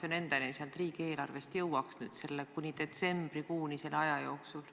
Ma pean silmas aega kuni detsembrikuuni, selle jooksul.